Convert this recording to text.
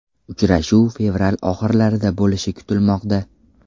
Uchrashuv fevral oxirlarida bo‘lishi kutilmoqda.